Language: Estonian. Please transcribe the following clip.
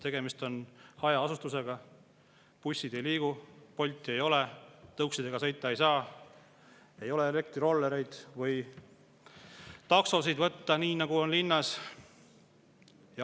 Tegemist on hajaasustusega, bussid ei liigu, Bolti ei ole, tõuksidega sõita ei saa, ei ole elektrirollereid või taksosid võtta, nii nagu on linnas.